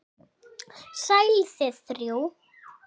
Sæl þið þrjú.